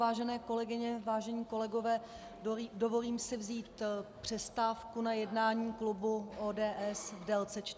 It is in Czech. Vážené kolegyně, vážení kolegové, dovolím si vzít přestávku na jednání klubu ODS v délce 45 minut.